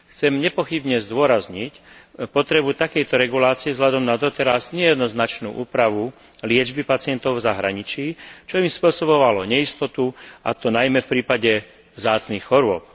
Chcem nepochybne zdôrazniť potrebu takejto regulácie vzhľadom na doteraz nejednoznačnú úpravu liečby pacientov v zahraničí, čo im spôsobovalo neistotu, a to najmä v prípade vzácnych chorôb.